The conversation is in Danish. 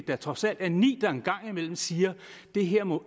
der trods alt er ni der en gang imellem siger det her må